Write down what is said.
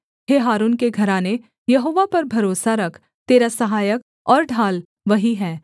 हे हारून के घराने यहोवा पर भरोसा रख तेरा सहायक और ढाल वही है